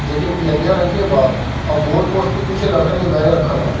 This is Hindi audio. जेके पियरिया रंग के बा अ गोल पोस्ट के पीछे लड़कन के बेग रखल ह।